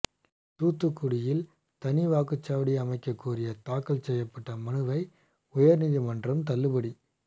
தூத்துக்குடியில் தனி வாக்குச்சாவடி அமைக்க கோரிய தாக்கல் செய்யப்பட்ட மனுவை உயர்நீதிமன்றம் தள்ளுபடி